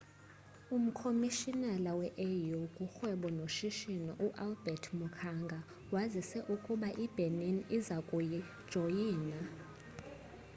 umkhomishinala we-au kurhwebo noshishino u-albert muchanga wazise ukuba ibenin iza kujoyina